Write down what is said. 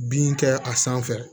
Bin kɛ a sanfɛ